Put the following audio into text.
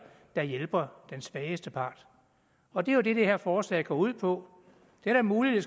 der hjælper den svageste part og det er det det her forslag går ud på det er da muligt at